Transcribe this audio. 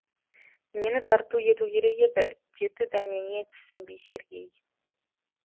нені тарту ету керек еді деді дәнеңе түсінбей сергей